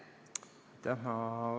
Aitäh!